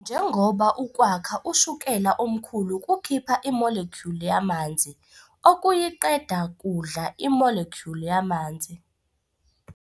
Njengoba ukwakha ushukela omkhulu kukhipha i-molecule yamanzi, ukuyiqeda kudla i-molecule yamanzi.